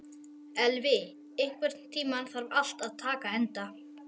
Elvi, einhvern tímann þarf allt að taka enda.